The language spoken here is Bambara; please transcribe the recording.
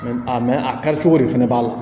A a kari cogo de fana b'a la